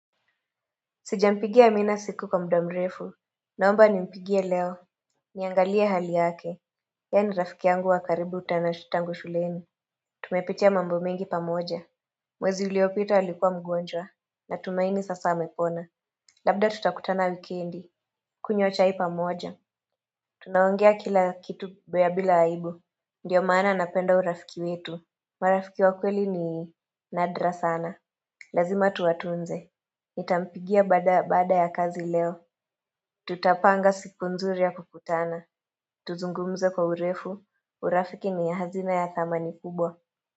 Sijampigia amina siku kwa muda mrefu. Naomba nimpigie leo. Niangalie hali yake. Yeye ni rafiki yangu wa karibu tena tangu shuleni. Tumepitia mambo mengi pamoja. Mwezi uliopita alikuwa mgonjwa. Natumaini sasa amepona. Labda tutakutana wikendi. Kunywa chai pamoja. Tunaongea kila kitu ya bila aibu. Ndiyo maana napenda urafiki wetu. Marafiki wa kweli ni nadra sana. Lazima tuwatunze. Nitampigia baada baada ya kazi leo. Tutapanga siku nzuri ya kukutana, tuzungumze kwa urefu, urafiki ni hazina ya thamani kubwa.